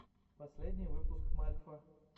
последний выпуск мальфа